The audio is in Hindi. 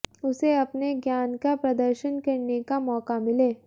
उसे अपने ज्ञान का प्रदर्शन करने का मौका मिले